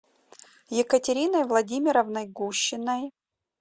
екатериной владимировной гущиной